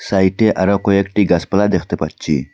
সাইটে আরও কয়েকটি গাসপালা দেখতে পাচ্চি।